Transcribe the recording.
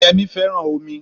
Yemí fẹ́ràn omi